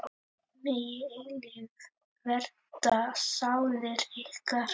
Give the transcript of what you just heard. Megi eilífð vernda sálir ykkar.